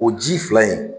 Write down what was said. O ji fila in